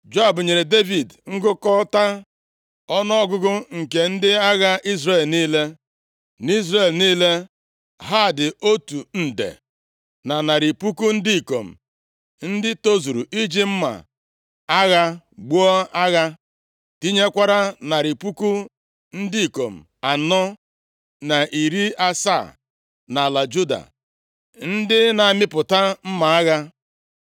Joab nyere Devid ngụkọta ọnụọgụgụ nke ndị agha Izrel niile. NʼIzrel niile, ha dị otu nde, na narị puku ndị ikom ndị tozuru iji mma agha buo agha, tinyekwara narị puku ndị ikom anọ na iri asaa nʼala Juda ndị na-amịpụta mma agha.